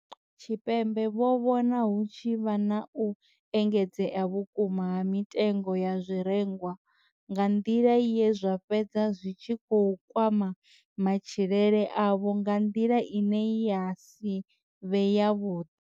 Tshipembe vho vhona hu tshi vha na u engedzea vhukuma ha mitengo ya zwirengwa nga nḓila ye zwa fhedza zwi tshi kwama matshilele avho nga nḓila ine ya si vhe yavhuḓi.